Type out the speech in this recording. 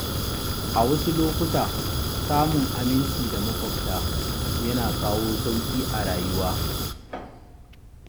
A wasu lokuta, samun aminci da maƙwabta yana kawo sauƙi a rayuwa.